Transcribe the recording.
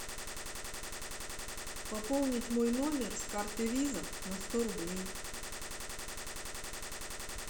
пополнить мой номер с карты виза на сто рублей